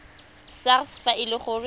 sars fa e le gore